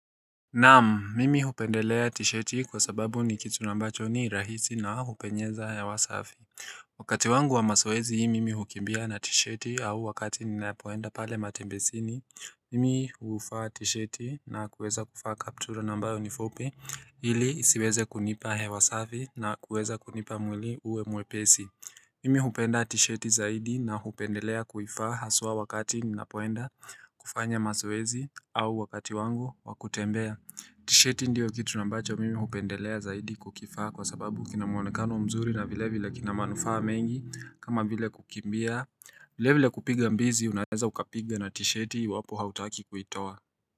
Naam, mimi hupendelea tisheti kwa sababu ni kitu ambacho ni rahisi na hupenyeza hewa safi Wakati wangu wa mazoezi mimi hukimbia na tisheti au wakati ninapo enda pale matembezini, mimi huvaa tisheti na kuweza kuvaa kaptura ambayo ni fupi ili ziweze kunipa hewa safi na kuweza kunipa mwili uwe mwepesi Mimi hupenda tisheti zaidi na hupendelea kuivaa haswaa wakati ninapoenda kufanya mazoezi au wakati wangu wa kutembea. Tisheti ndio kitu ambacho mimi hupendelea zaidi kukivaa kwa sababu kina mwonekano mzuri na vilevile kina manufaa mengi kama vile kukimbia Vilevile kupiga mbizi unaweza ukapiga na tisheti iwapo hutaki kuitoa.